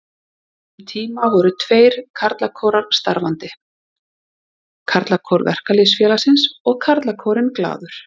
Um tíma voru tveir karlakórar starfandi, Karlakór Verkalýðsfélagsins og Karlakórinn Glaður.